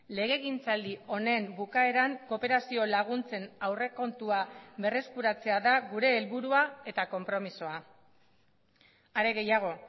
legegintzaldi honen bukaeran kooperazio laguntzen aurrekontua berreskuratzea da gure helburua eta konpromisoa are gehiago